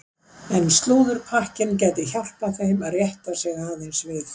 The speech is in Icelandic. En slúðurpakkinn gæti hjálpað þeim að rétta sig aðeins við.